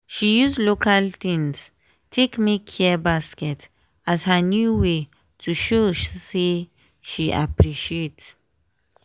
she use local things take make care baskets as her new way to show say she appreciate.